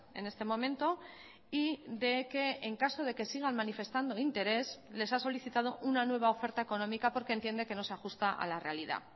en este momento y de que en caso de que sigan manifestando interés les ha solicitado una nueva oferta económica porque entiende que no se ajusta a la realidad